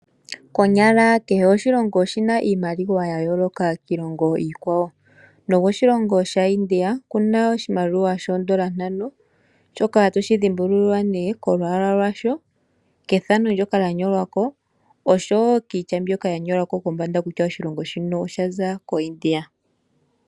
Konyala kehe oshilongo oshina iimaliwa ya yooloka kiilongo iikwawo, nokoshilongo sha India okuna shoondola ntano shoka toshi dhimbulula nee kolwaala lwasho, kethano ndoka lya nyolwa ko, oshowo kiitya mbyoka ya nyolwa ko kutya oshilongo shino osha za koIndia.